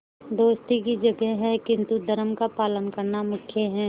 दोस्ती की जगह है किंतु धर्म का पालन करना मुख्य है